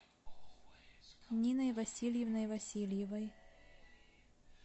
ниной васильевной васильевой